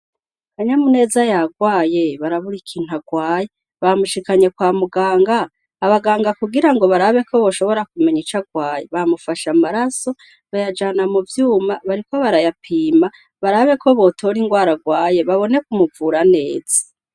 Kanyamuneza yarwaye, barabura ikintu arwaye; bamushikanye kwa muganga, abaganga kugira ngo barabe ko boshobora kumenya ico arwaye, bamufashe amaraso, bayajana mu vyuma, bariko barayapima barabe ko botora ingwara arwaye babone kumuvura neza.